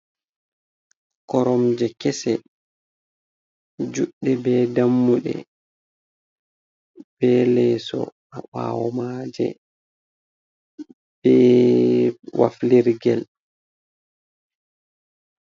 Koromje kese, juɗɗe be dammuɗe. Ɓe leeso ha ɓaawo maaje, be waflirgel.